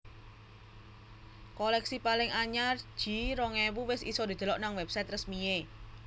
Koleksi paling anyar G rong ewu wes iso didelok nang website resmi e